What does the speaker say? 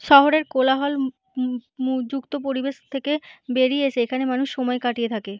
শহরের কোলাহল ম-উ মু যুক্ত পরিবেশ থেকে বেরিয়ে এসে এখানে মানুষ সময় কাটিয়ে থাকে।